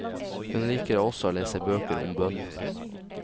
Hun liker også å lese bøker om bønn.